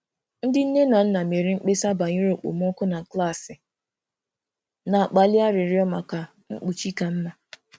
Ndị nne na nna mere mkpesa banyere okpomọkụ na klaasị, na-akpali arịrịọ maka mkpuchi ka mma.